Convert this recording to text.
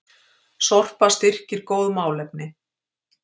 Sorpa styrkir góð málefni